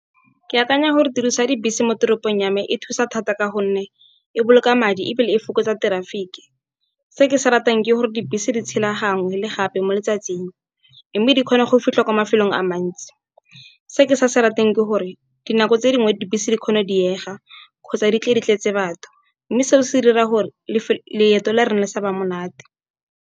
Ke akanya gore tiriso ya dibese mo toropong ya me e thusa thata ka gonne e boloka madi ebile e fokotsa traffic-e. Se ke se ratang ke gore dibese di tshela gangwe le gape mo letsatsing mme di kgona go fitlha kwa mafelong a mantsi. Se ke sa se ratang ke gore dinako tse dingwe dibese di kgone go diega kgotsa di tle di tletse batho, mme seo se dira gore leeto la rona le saba monate.